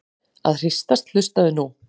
að hristast- hlustaðu nú á!